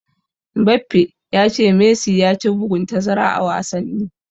Mbappe ya ce Messi ya ci bugun tazara a wasanni.